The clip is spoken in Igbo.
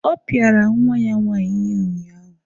Ọ pịara nwa ya nwaanyị ihe unyaahụ.